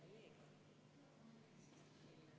Rene Kokk, palun!